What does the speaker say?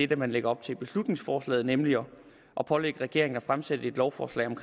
det man lægger op til i beslutningsforslaget nemlig at pålægge regeringen at fremsætte et lovforslag om